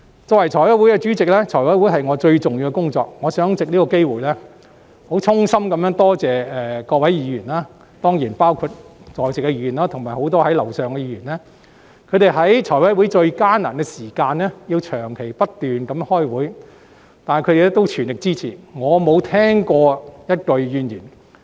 作為財務委員會的主席，財委會是我最重要的工作，我想藉此機會衷心多謝各位議員，包括在席議員及很多身處樓上辦公室的議員，他們在財委會最艱難，需要長時間不斷開會的時期，仍給予全力的支持，我沒有聽過任何一句怨言。